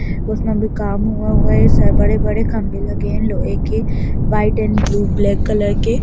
उसमें अभी काम हुआ हुआ है बड़े-बड़े खम्भे लगे है लोहे के white and blue black colour के।